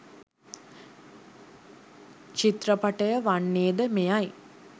චිත්‍රපටය වන්නේ ද මෙයයි